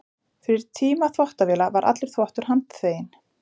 Fyrir tíma þvottavéla var allur þvottur handþveginn.